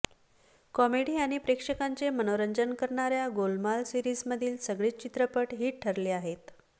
comedy आणि प्रेक्षकांचे मनोरंजन करणाऱ्या गोलमाल सिरीजमधील सगळेच चित्रपट हिट ठरले आहेत